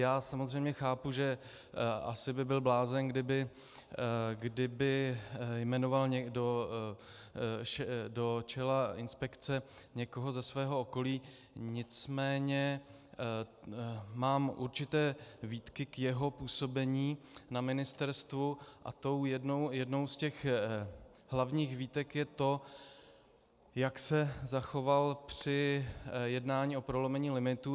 Já samozřejmě chápu, že asi by byl blázen, kdyby jmenoval někdo do čela inspekce někoho ze svého okolí, nicméně mám určité výtky k jeho působení na ministerstvu, a tou jednou z těch hlavních výtek je to, jak se zachoval při jednání o prolomení limitů.